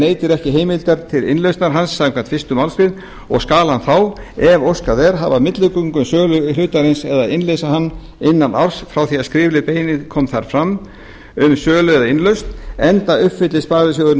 neytir ekki heimildar til innlausnar hans samkvæmt fyrstu málsgrein og skal hann þá ef óskað er hafa milligöngu um sölu hlutarins eða innleysa hann innan árs frá því er skrifleg beiðni kom fram um sölu eða innlausn enda uppfylli sparisjóðurinn